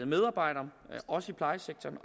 medarbejdere også i plejesektoren